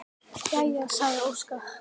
Jæja, sagði Óskar.